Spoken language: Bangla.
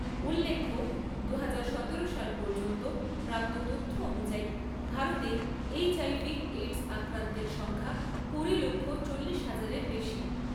উল্লেখ্য, দুহাজার সতেরো সাল পর্যন্ত প্রাপ্ত তথ্য অনুযায়ী ভারতে এইচ্আইভি এইডস আক্রান্তের সংখ্যা কুড়ি লক্ষ চল্লিশ হাজারের বেশি।